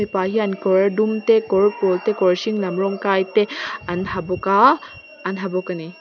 mipa hian kawr dum te kawr pawl te kawr hring lam rawng kai te an ha bawk a an ha bawk a ni.